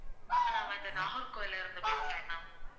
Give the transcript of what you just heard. ஆஹ் நான் வந்து நாகர்கோவில்ல இருந்து பேசுறேன் ma'am